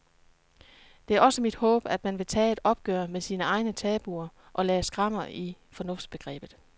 Det er også mit håb, at man vil tage et opgør med sine egne tabuer og lave skrammer i fornuftsbegrebet.